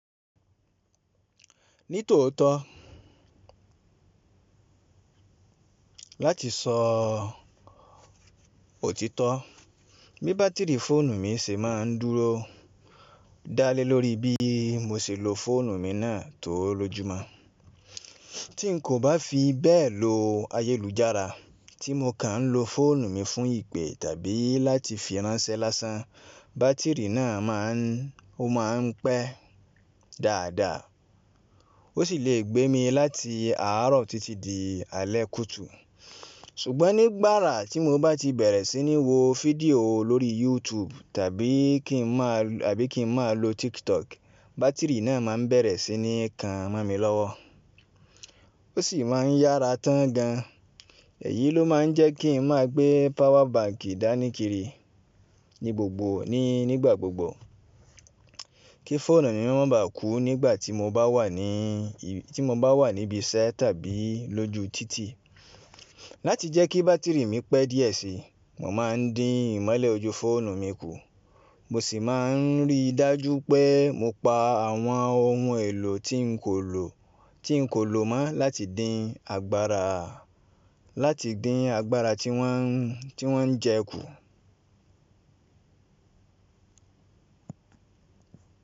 Ní tòótọ́ láti sọ òtítọ́ bí bátìrì fóònù mi ṣe máa ń dúró dá lé lórí bí mo ṣe lo fóònù mi náà tó lóju mo Tí n kò bá fi bẹ́ẹ̀ lo ayélujára tí mo kàn ń lo fóònù mi fún ìpè tàbí láti fi ránṣẹ́ lásán, bátìrì náà máa ń pẹ́ dáadáa. Ó sì le gbé mi láti àárọ̀ títí di alẹ́ kùtù. Ṣùgbọ́n nígbàrà tí mo bá ti bẹ̀rẹ̀ sí ní wo fídíò lórí YouTube tàbí kí n máa lo TikTok, bátìrì náà máa bẹ̀rẹ̀ sí ní kan mó mi lọ́wọ́. Ó sì máa ń yára tán gan. Èyí ló máa ń jẹ́ kí n máa gbé power banki dáníkìrí ní gbogbo nígbà gbogbo kí fóònù mi má bà kú nígbà tí mo bá wà níbí iṣẹ́ tàbí lójú títì. Láti jẹ́ kí bátìrì mi pẹ́ díẹ̀ síi, mo máa ń dín ìmọ́lẹ̀ ojú fóònù mi kù. Mo sì máa ń rí dájú pé mo pa àwọn ohun èlò tí n kò lò mọ́ láti dín agbára tí wọ́n ń jẹ kù.